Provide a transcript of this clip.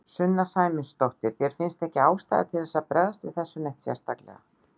Sunna Sæmundsdóttir: Þér finnst ekkert ástæða til þess að bregðast við þessu neitt sérstaklega?